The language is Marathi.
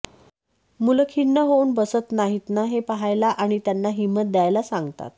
मुलं खिन्न होऊन बसत नाहीत ना हे पाहायला आणि त्यांना हिंमत द्यायला सांगतात